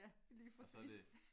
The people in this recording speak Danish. Ja lige præcis